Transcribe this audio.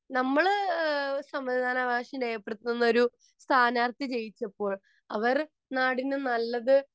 നമ്മൾ സമ്മതിദാനാവകാശം അവകാശം രേഖപ്പെടുത്തുന്ന ഒരു സ്ഥാനാർഥി ജയിച്ചപ്പോൾ അവർ നാടിനു നല്ലത്